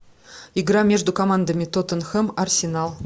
игра между командами тоттенхэм арсенал